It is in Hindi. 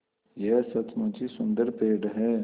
यह सचमुच ही सुन्दर पेड़ है